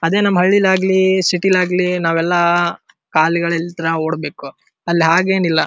ಅದೇ ನಮ್ಹಳ್ಳಿಲಾಗ್ಲಿ ಚಿತ್ಯ್ಲಾಗ್ಲಿ ನಾವೆಲ್ಲ ಕಾಲ್ ಗಲಿಲತ ನಾವ್ ಓಡ್ಬೇಕು ಅಲ್ಲಿ ಹಾಗೇನಿಲ್ಲ.